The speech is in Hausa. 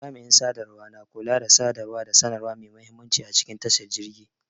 Jami'in sadarwa na kula da sadarwa da sanarwa mai muhimmanci a cikin tashar jirgi.